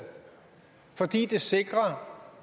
fordi det sikrer